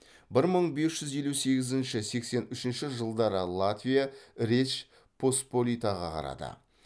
бір мың бес жүз елу сегізінші сексен үшінші жылдары латвия речь поспоритаға қарады